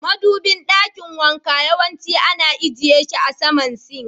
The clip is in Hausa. Madubin dakin wanka yawanci ana ajiye she a sama "sink".